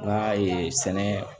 N ka sɛnɛ